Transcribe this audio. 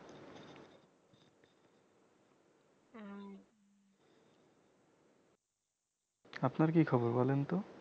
আপনার কি খবর বলেন তো